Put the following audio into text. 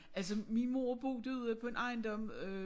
Altså min mor boede ude på en ejendom øh